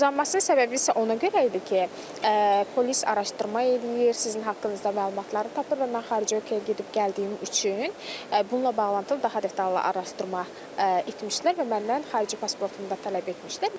Uzlanmasının səbəbi isə ona görə idi ki, polis araşdırma eləyir, sizin haqqınızda məlumatları tapır və mən xarici ölkəyə gedib gəldiyim üçün bununla bağlı daha detallı araşdırma etmişdilər və məndən xarici pasportumu da tələb etmişdilər.